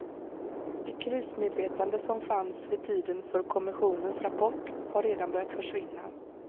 Det krismedvetande som fanns vid tiden för kommissionens rapport har redan börjat försvinna.